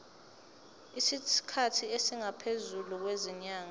isikhathi esingaphezulu kwezinyanga